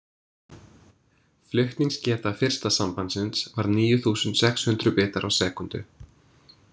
Flutningsgeta fyrsta sambandsins var níu þúsund sex hundruð bitar á sekúndu.